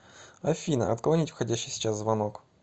афина отклонить входящий сейчас звонок